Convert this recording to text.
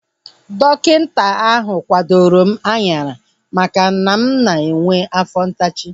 Dọkịta ahu kwadoro m anyara maka na ana m enwe afọ ntachi